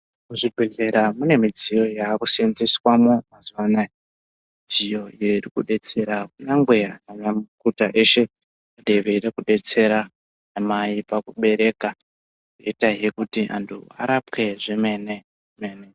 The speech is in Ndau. Muzvidhlera mune midziyo yakuseenzeswamo mazuva anaya. Midziyo iyi iri kudetsera kunyangwe ananyamukuta eshe kuti eyida kudetsera anamai pakubereka, oitazve kuti munhu arapwe zvemene mene.